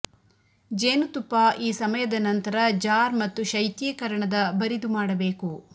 ಜೇನುತುಪ್ಪ ಈ ಸಮಯದ ನಂತರ ಜಾರ್ ಮತ್ತು ಶೈತ್ಯೀಕರಣದ ಬರಿದು ಮಾಡಬೇಕು